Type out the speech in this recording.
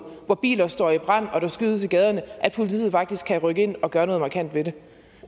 hvor biler står i brand og der skydes i gaderne at politiet faktisk kan rykke ind og gøre noget markant ved det